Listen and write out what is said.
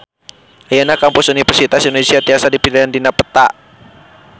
Ayeuna Kampus Universitas Indonesia tiasa dipilarian dina peta